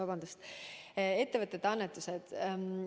Vabandust!